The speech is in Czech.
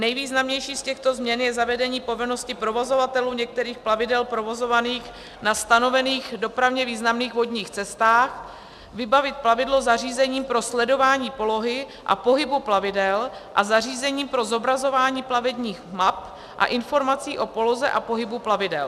Nejvýznamnější z těchto změn je zavedení povinnosti provozovatelů některých plavidel provozovaných na stanovených dopravně významných vodních cestách vybavit plavidlo zařízením pro sledování polohy a pohybu plavidel a zařízením pro zobrazování plavebních map a informací o poloze a pohybu plavidel.